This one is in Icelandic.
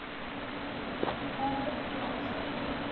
Þar veitti Axel